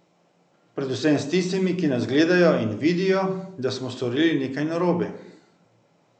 Predvsem s tistimi, ki nas gledajo in vidijo, da smo storili nekaj narobe.